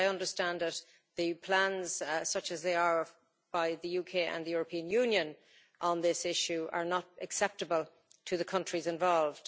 As I understand it, the plans such as they are by the UK and the European Union on this issue are not acceptable to the countries involved.